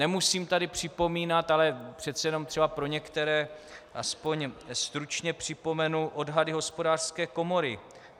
Nemusím tady připomínat, ale přece jenom třeba pro některé aspoň stručně připomenu odhady Hospodářské komory.